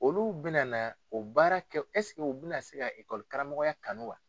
Olu bɛna o baara kɛ u bɛna se ka karamɔgɔya kanu wa?